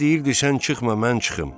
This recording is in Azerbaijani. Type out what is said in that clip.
Aya deyirdi sən çıxma, mən çıxım.